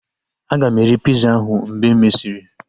Aga m eri piza ahu mgbe e mesịrị